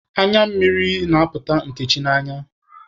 Anya mmiri na-apụta Nkechi n'anya.